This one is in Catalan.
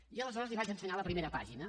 i llavors li vaig ensenyar la primera pàgina